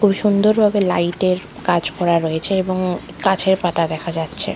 খুব সুন্দর ভাবে লাইট -এর কাজ করা রয়েছে এবং গাছের পাতা দেখা যাচ্ছে ।